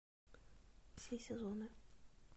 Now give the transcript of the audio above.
все сезоны